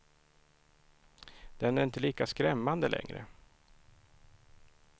Den är inte lika skrämmande längre.